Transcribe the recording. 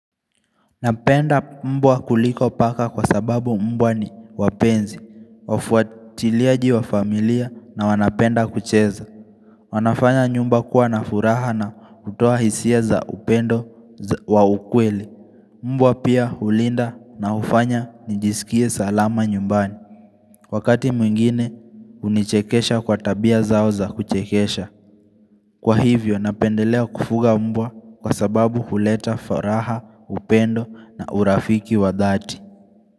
Napenda mbwa kuliko paka kwa sababu mbwa ni wapenzi, wafuatiliaji wa familia na wanapenda kucheza wanafanya nyumba kuwa na furaha na kutoa hisia za upendo wa ukweli Mbwa pia hulinda na hufanya nijisikie salama nyumbani Wakati mwingine unichekesha kwa tabia zao za kuchekesha Kwa hivyo napendelea kufuga mbwa kwa sababu huleta faraha, upendo na urafiki wa dhati.